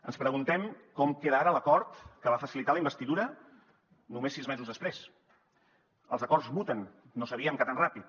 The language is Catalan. ens preguntem com queda ara l’acord que va facilitar la investidura només sis mesos després els acords muten no sabíem que tan ràpid